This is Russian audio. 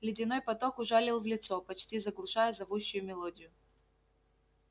ледяной поток ужалил в лицо почти заглушая зовущую мелодию